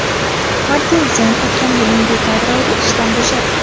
Martin Zenn o‘tgan yilning dekabr oyida ishdan bo‘shadi.